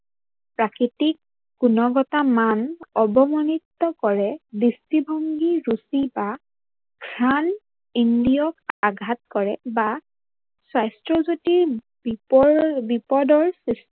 প্ৰাকৃতিক গুণৱতা মান অৱমানিত কৰে দৃষ্টিভংগী ৰুচি বা ঘ্ৰাণ ইন্দ্ৰিয়ক আঘাত কৰে বা সাস্থ্যজুতি বিপদৰ